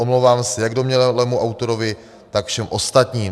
Omlouvám se jak domnělému autorovi, tak všem ostatním.